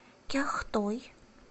кяхтой